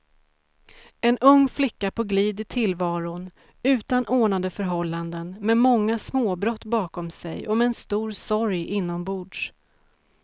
En ung flicka på glid i tillvaron, utan ordnade förhållanden, med många småbrott bakom sig och med en stor sorg inombords.